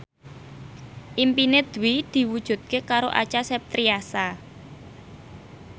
impine Dwi diwujudke karo Acha Septriasa